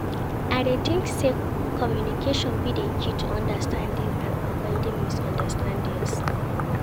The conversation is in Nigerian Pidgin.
I dey think say communication be di key to understanding and avoiding misunderstandings.